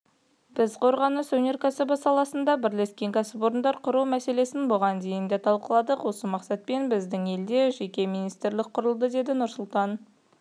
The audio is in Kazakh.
біз қорғаныс өнеркәсібі саласында бірлескен кәсіпорындар құру мәселесін бұған дейін де талқыладық осы мақсатпен біздің елде жеке министрлік құрылды деді нұрсұлтан